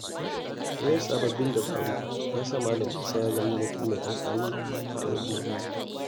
Koyon sababbin dabaru ya sa Malam Musa ya zama mutum mai amfani a al’umma.